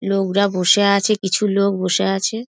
লোকরা বসে আছে কিছু লোক বসে আছে |